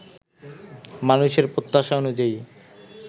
মানুষের প্রত্যাশা অনুযায়ী